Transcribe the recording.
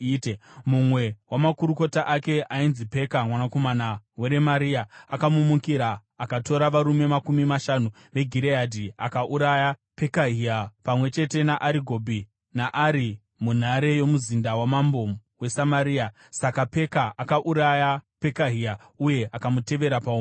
Mumwe wamakurukota ake, ainzi Peka mwanakomana waRemaria, akamumukira. Akatora varume makumi mashanu veGireadhi, akauraya Pekahia pamwe chete naArigobhi naArie, munhare yomuzinda wamambo weSamaria. Saka Peka akauraya Pekahia uye akamutevera paumambo.